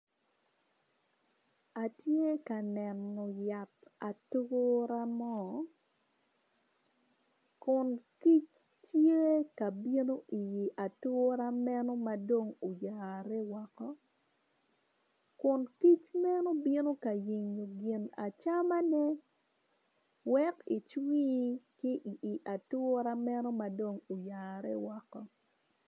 Atye ka neno yat atura mo kun kic tye ka bino i atura meno madong uyarani woko kun kic meno bino ka yenyo gin acamane wek icwi i atura meno madong oyare woko.